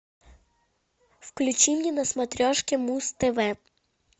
включи мне на смотрешке муз тв